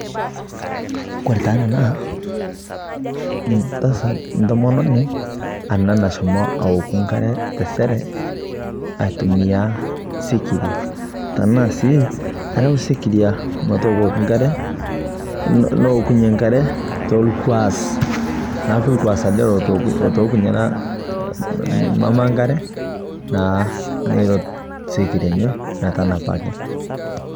Kore taa ana naa ntasaat, ntomononi ena nashoomo auoku nkaare te seree, atumia sikiria tana sii arau sikiria metookoki nkare nookunye nkaare to lnkuaas. Naa lnkuasi ele otookunye mama nkaare naa neeret sikiria enye metanapaki.